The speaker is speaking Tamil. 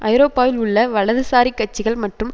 ஐரோப்பாவில் உள்ள வலதுசாரிக் கட்சிகள் மற்றும்